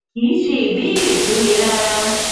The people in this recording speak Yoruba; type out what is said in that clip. kì í ṣe ìbéèrè tó le rárá